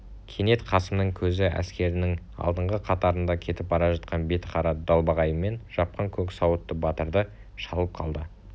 кенет қасымның көзі әскерінің алдыңғы қатарында кетіп бара жатқан бетін қара далбағайымен жапқан көк сауытты батырды шалып қалды